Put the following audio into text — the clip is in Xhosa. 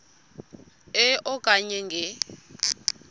e okanye nge